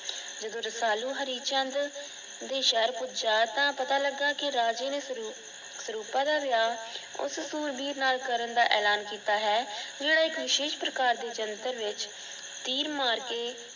ਜਦੋ ਰਸਾਲੂ ਹਰੀਚੰਦ ਦੇ ਸ਼ਹਿਰ ਪੁਜਯਾ ਤਾ ਪਤਾ ਲੱਗਾ ਕਿ ਰਾਜੇ ਨੇ ਸਰੂਪਾ ਦਾ ਵਿਆਹ ਉਸ ਸ਼ੁਰਵੀਰ ਨਾਲ ਕਰਨ ਦਾ ਐਲਾਨ ਕੀਤਾ ਹੈ। ਜੇੜਾ ਇਕ ਵਿਸ਼ੇਸ਼ ਪ੍ਰਕਾਰ ਦੇ ਯੰਤ੍ਰ ਵਿੱਚ ਤੀਰ ਮਾਰ ਕੇ